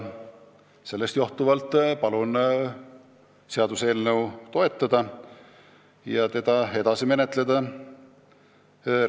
Sellest johtuvalt palun seaduseelnõu toetada ja seda edasi menetleda!